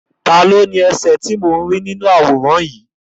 Taàní ó ní ẹsẹ̀ inú àwòrán yìí?